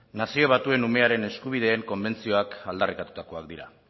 nazio batuen umearen eskubideen konbentzioak aldarrikatutakoak dira